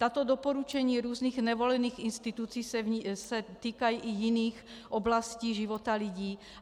Tato doporučení různých nevolených institucí se týkají i jiných oblastí života lidí.